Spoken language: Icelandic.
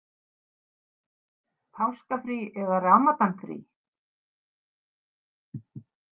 Páskafrí eða Ramadanfrí?